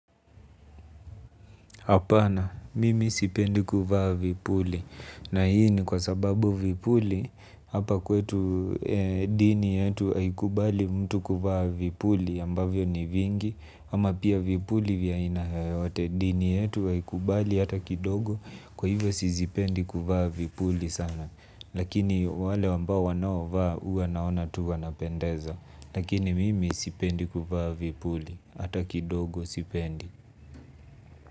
Hapana, mimi sipendi kuvaa vipuli, na hii ni kwa sababu vipuli, hapa kwetu dini yetu haikubali mtu kuvaa vipuli, ambavyo ni vingi, ama pia vipuli vya aina yeyote, dini yetu haikubali hata kidogo, kwa hivyo sizipendi kuvaa vipuli sana, lakini wale ambao wanaovaa huwa naona tu wanapendeza, lakini mimi sipendi kuvaa vipuli, hata kidogo sipendi.